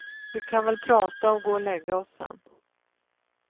Vi kan väl prata och gå och lägga oss sen.